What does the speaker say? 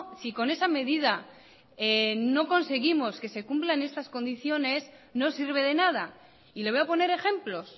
si con esa medida no conseguimos que se cumplan estas condiciones no sirve de nada y le voy a poner ejemplos